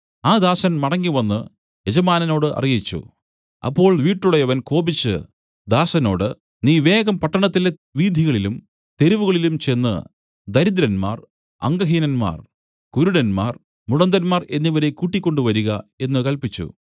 ആ ദാസൻ മടങ്ങിവന്നു യജമാനനോടു അറിയിച്ചു അപ്പോൾ വീട്ടുടയവൻ കോപിച്ചു ദാസനോട് നീ വേഗം പട്ടണത്തിലെ വീഥികളിലും തെരുവുകളിലും ചെന്ന് ദരിദ്രന്മാർ അംഗഹീനന്മാർ കുരുടന്മാർ മുടന്തന്മാർ എന്നിവരെ കൂട്ടിക്കൊണ്ടുവരിക എന്നു കല്പിച്ചു